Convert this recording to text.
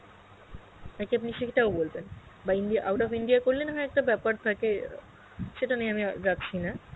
না কি আপনি সেটাও বলবেন বা India out of India করলে না হয় একটা বেপার থাকে আ সেটা নিয়ে আমি আর যাচ্ছি না.